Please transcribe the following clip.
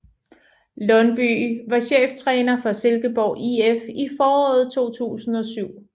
Lundbye var cheftræner for Silkeborg IF i foråret 2007